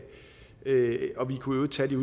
øvrigt tage det